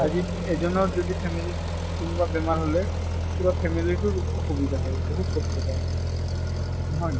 আজি এজনৰ যদি family ত কোনবা বেমাৰ হʼলে পুৰা family তোৰ অসুবিধা হয়। বহুত কষ্ট পায়। নহয়?